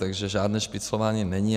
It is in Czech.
Takže žádné špiclování není.